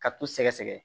Ka t'u sɛgɛsɛgɛ